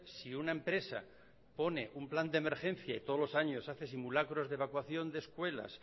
si una empresa pone un plan de emergencia y todos los años hace simulacros de evacuación de escuelas